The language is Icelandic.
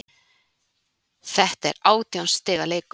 Þetta er átján stiga leikur